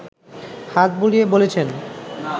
হাত বুলিয়ে বলেছেন